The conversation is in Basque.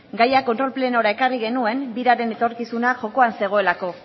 gaia kontrol plenora ekarri genuen biraren etorkizuna jokoan zegoelako